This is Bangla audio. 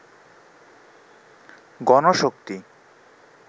গণশক্তি